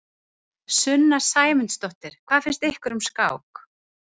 Sunna Sæmundsdóttir: Hvað finnst ykkur um skák?